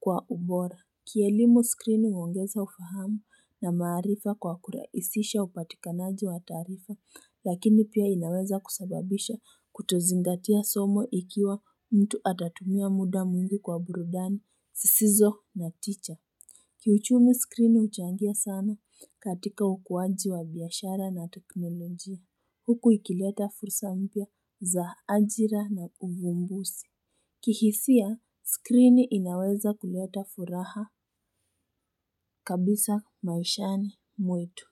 kwa ubora Kielimu skrini uongeza ufahamu na maarifa kwa kurahisisha upatikanaji wa taarifa lakini pia inaweza kusababisha kutozingatia somo ikiwa mtu atatumia muda mwingi kwa burudani sisizo na teacher Kiuchumi skrini uchangia sana katika hukuaji wa biashara na teknolojia Huku ikileta fursa mpya za ajira na uvumbuzi kihisia, skrini inaweza kuleta furaha kabisa maishani mwetu.